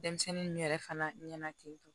Denmisɛnnin ninnu yɛrɛ fana ɲɛna ten tɔ